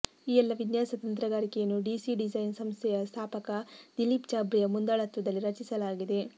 ಈ ಎಲ್ಲ ವಿನ್ಯಾಸ ತಂತ್ರಗಾರಿಕೆಯನ್ನು ಡಿಸಿ ಡಿಸೈನ್ ಸಂಸ್ಥೆಯ ಸ್ಥಾಪಕ ದಿಲೀಪ್ ಚಾಬ್ರಿಯಾ ಮುಂದಾಳತ್ವದಲ್ಲಿ ರಚಿಸಲಾಗಿದೆ